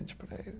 para ele